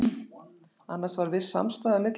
Annars var viss samstaða milli okkar